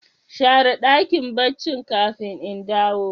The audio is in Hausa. Share dakin barci kafin in dawo.